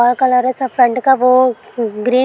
हरा कलर है सब फ्रंट का वो ग्री --